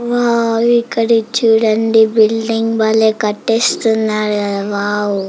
Wow ఇక్కడిది చుడండి building బలే కట్టిస్తున్నారు కదా వోవ్ .